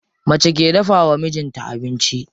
Mace ke dafawa mijin ta abinci.